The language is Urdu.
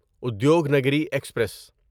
ادیوگنگری ایکسپریس